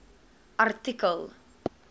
artikel